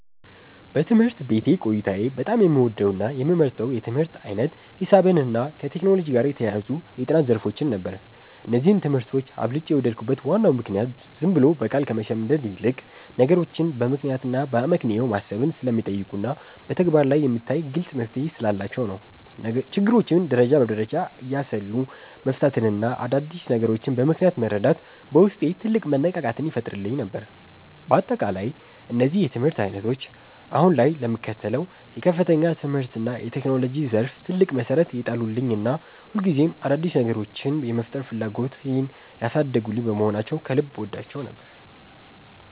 በትምህርት ቤት ቆይታዬ በጣም የምወደውና የምመርጠው የትምህርት ዓይነት ሂሳብንና ከቴክኖሎጂ ጋር የተያያዙ የጥናት ዘርፎችን ነበር። እነዚህን ትምህርቶች አብልጬ የወደድኩበት ዋናው ምክንያት ዝም ብሎ በቃል ከመሸምደድ ይልቅ፣ ነገሮችን በምክንያትና በአመክንዮ ማሰብን ስለሚጠይቁና በተግባር ላይ የሚታይ ግልጽ መፍትሔ ስላላቸው ነው። ችግሮችን ደረጃ በደረጃ እያሰሉ መፍታትና አዳዲስ ነገሮችን በምክንያት መረዳት በውስጤ ትልቅ መነቃቃትን ይፈጥርልኝ ነበር። በአጠቃላይ እነዚህ የትምህርት ዓይነቶች አሁን ላይ ለምከተለው የከፍተኛ ትምህርትና የቴክኖሎጂ ዘርፍ ትልቅ መሠረት የጣሉልኝና ሁልጊዜም አዳዲስ ነገሮችን የመፍጠር ፍላጎቴን ያሳደጉልኝ በመሆናቸው ከልብ እወዳቸው ነበር።